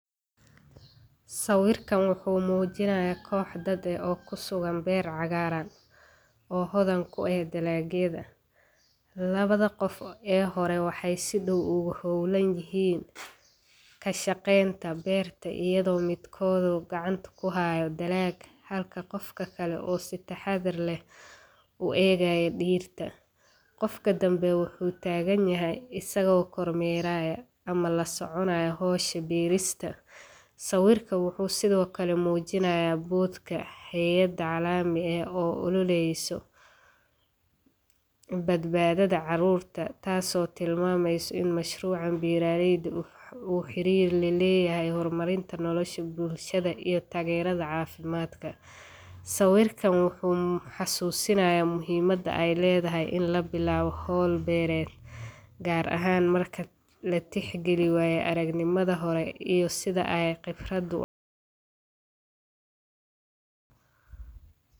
Sawiirkaan wuxuu mujinaaya koox dad ah oo kusugan beer cagaaran, oo hodan ku eh dalaagyada, labada qof ee hore waxeey si dow oogu hoolan yihiin, kashaqeenta beerta ayado midkooda uu gacanta kuhaayo dalaag halka qofka kale uu si taxadar leh u eegaayo dirta, qofka dambe wuxuu taagan yahay asagoo kor meeraya ama lasoconaayo howsha beerista, sawiirka wuxuu sido kale mujinaaya boodka haayada calaami oo oroneyso badbaadada caruurta, taas oo tilmaameyso in mashruucan beeraleyda uu xiriir la leyahay hor marinta nolosha bulshada iyo tageerida cafimaadka, sawiirkaan wuxuu xasuusinaaya muhiimada aay ledahay in la bilaabo howl beereed, gaar ahaan marka la tix galiyo wayo aragnimadi hore iyo sida eey khibrada.